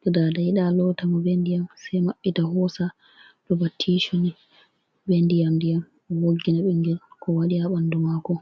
To Daada yiɗa loota mo be ndiƴam, sai maɓɓita hoosa. Ɗo ba tissu ni, be ndiyam-ndiyam, ɓe woggina ɓingel ko waɗi haa ɓandu maako.